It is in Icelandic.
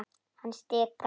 Hann stikar.